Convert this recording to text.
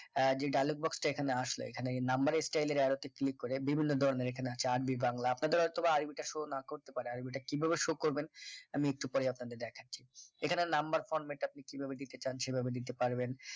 আহ যে dialogue box টা এখানে, আসলে এখানে নাম্বারে style এর arrow তে click করে বিভিন্ন ধরনের এখানে আছে আরবি বাংলা। আপনাদের হয়তোবা আরবিটা show না করতে পারে আরবিটা কিভাবে show করবেন আমি একটু পরে আপনাদের দেখাছি এখানে number format আপনি কিভাবে দিতে চান সেভাবে দিতে পারেন